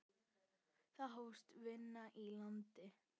Þá hófst vinna í landi.